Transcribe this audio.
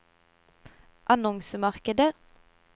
annonsemarkedet